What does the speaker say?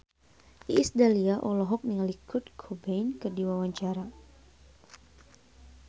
Iis Dahlia olohok ningali Kurt Cobain keur diwawancara